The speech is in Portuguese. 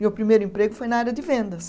Meu primeiro emprego foi na área de vendas.